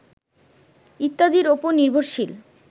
ইত্যাদির উপর নির্ভরশীল